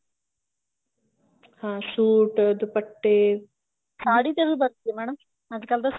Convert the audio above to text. ਹਾਂ suit ਦੁਪੱਟੇ ਸਾੜੀ ਦਾ ਵੀ ਬਣਦੇ madam ਅੱਜਕਲ ਤਾਂ